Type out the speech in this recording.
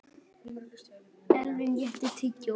Elvin, áttu tyggjó?